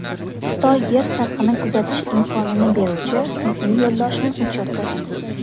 Xitoy Yer sathini kuzatish imkonini beruvchi sun’iy yo‘ldoshni uchirdi.